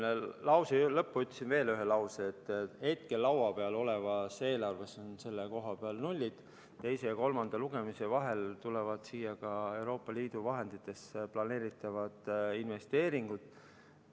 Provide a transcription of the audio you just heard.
Ma lause lõppu ütlesin veel, et hetkel laua peal olevas eelarves on selle koha peal nullid, teise ja kolmanda lugemise vahel tulevad siia ka Euroopa Liidu vahenditest planeeritavad investeeringud.